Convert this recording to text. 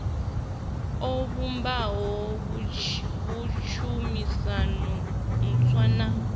o vhumba tshumisano ntswa na